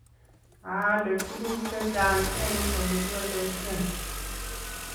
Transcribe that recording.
Aale tuguk chechang eng olegialdoishen